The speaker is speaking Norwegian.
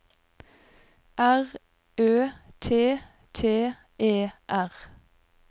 R Ø T T E R